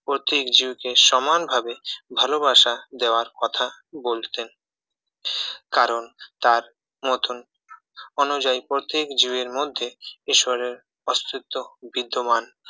প্রত্যেক জীবকে সমানভাবে ভালোবাসা দেওয়ার কথা বলতেন কারণ তার মতন অনুযায়ী প্রত্যেক জীবের মধ্যে ঈশ্বরের অস্তিত্ব বিদ্যমান